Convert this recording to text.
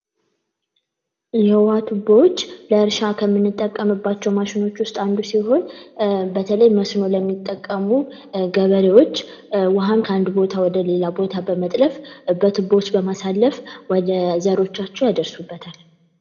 የውሃ ቱቦዎች ለእርሻ ከምንጠቀምባቸው ማሽኖች ውስጥ አንዱ ሲሆን በተለይ መስኖ ለሚጠቀሙ ገበሬዎች ውሃን ከአንድ ቦታ ወደሌላ ቦታ በመጥለፍ በቱቦዎች በማሳለፍ ወደሌላ ቦታ ይደርሱበታል።